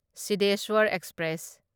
Sidheshwar express